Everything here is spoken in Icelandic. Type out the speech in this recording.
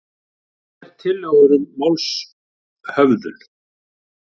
Tvær tillögur um málshöfðun